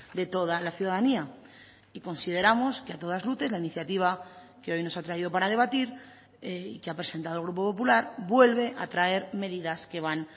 de toda la ciudadanía y consideramos que a todas luces la iniciativa que hoy nos ha traído para debatir y que ha presentado el grupo popular vuelve a traer medidas que van